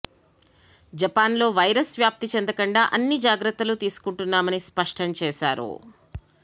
Japan లో virus వ్యాప్తి చెందకుండా అన్ని జాగ్రత్తలు తీసుకుంటున్నామని స్పష్టం చేసారు